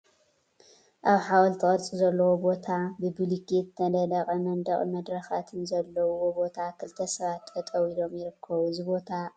አብ ሓወልቲ ቅርፂ ዘለዎ ቦታ ብቡሉኬት ዝተነደቀ መንድቅን መድረካትን ዘለውዎ ቦታ ክልተ ሰባት ጠጠው ኢሎም ይርከቡ፡፡ እዚ ቦታ አበይ እዩ?